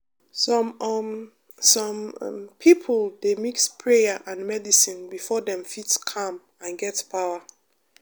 some um some um people dey mix prayer and medicine before dem fit calm and get power